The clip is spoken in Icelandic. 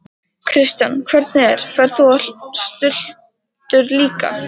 Kristján: Hvernig er, ferð þú á stultur líka?